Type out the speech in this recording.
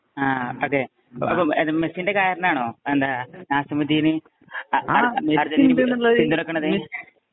ആ ഒകെ, അപ്പോ മെസ്സീന്‍റെ കാരണമാണോ? എന്താ നാസിമുദ്ദീന്പിന്തുണക്കണത്.